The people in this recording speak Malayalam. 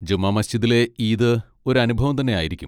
ജമാ മസ്ജിദിലെ ഈദ് ഒരു അനുഭവം തന്നെ ആയിരിക്കും.